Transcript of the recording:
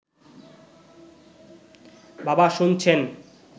বাবা শুনছেন